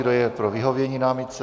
Kdo je pro vyhovění námitce?